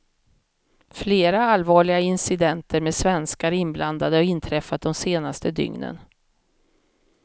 Flera allvarliga incidenter med svenskar inblandade har inträffat de senaste dygnen.